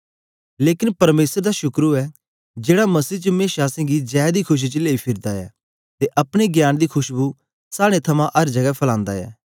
लेकन परमेसर दा शुकर ओऐ जेड़ा मसीह च मेशा असेंगी जै दी खुशी च लेई फिरदा ऐ ते अपने ज्ञान दी खशबु साड़े थमां अर जगै फलांदा ऐ